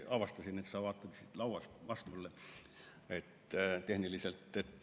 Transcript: Ma avastasin, et sa vaatad siit lauast vastu mulle tehniliselt.